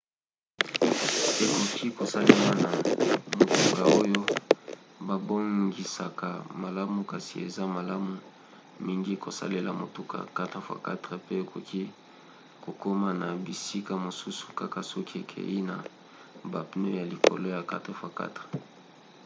ekoki kosalema na motuka oyo babongisaka malamu kasi eza malamu mingi kosalela motuka 4x4 pe okoki kokoma na bisika mosusu kaka soki okei na bapneu ya likolo ya 4x4